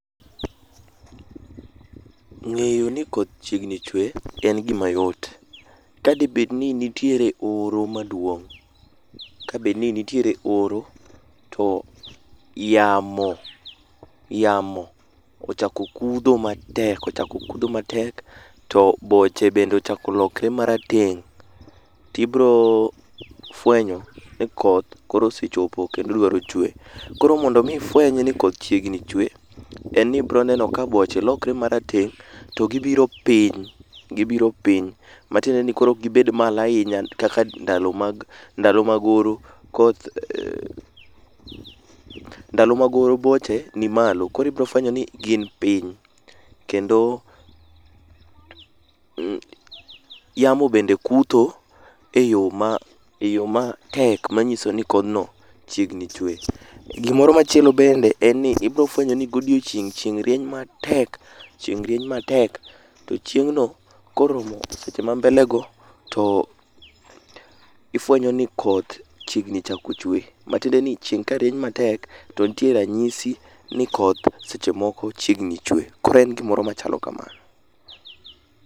Ng'eyo ni koth chiegni chwe en gima yot. Kadebed ni nitiere oro maduong', kabed ni nitiere oro, to yamo yamo ochako kudho matek ochako kudho matek to boche bende ochako lokre marateng', tibro fwenyo ni koth koro osechopo kendo odwaro chwe. Koro mondo mi ifweny ni koth chiegni chwe, enni ibro neno ka boche lokre marateng' to gibiro piny, gibiro piny matiende ni koro okgibed malahinya kaka ndalo mag ndalo mag oro. Koth ndalo mag oro boche ni malo koro ibrofwenyo ni gin piny kendo yamo bende kutho e yoo ma e yoo matek manyiso ni kodhno chiegni chwe. Gimoro machielo bende enni ibiro fwenyo ni godiochieng' chieng' rieny matek chieng' rieny matek to chieng' no koromo seche mambele go to ifwenyo ni koth chiegni chako chwe. Matiende ni chieng' ka rieny matek to ntie ranyisi ni koth seche moko chiegni chwe. Koro en gimoro machalo kamano.